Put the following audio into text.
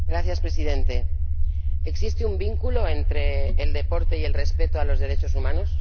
Señor Presidente, ¿existe un vínculo entre el deporte y el respeto a los derechos humanos?